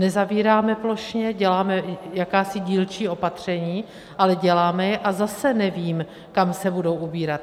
Nezavíráme plošně, děláme jakási dílčí opatření, ale děláme je a zase nevím, kam se budou ubírat.